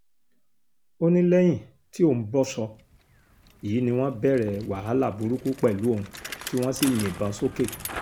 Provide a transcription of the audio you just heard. ó ní lẹ́yìn tí òun bọ́ṣọ yìí ni wọ́n bẹ̀rẹ̀ wàhálà burúkú pẹ̀lú òun tí wọ́n sì yìnbọn sókè